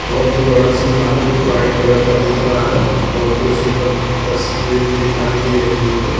बोहोत ही बड़ा सा महल वाइट कलर का दिख रहा हैं बोहोत ही सुंदर तस्वीर दिखाई दे रही है।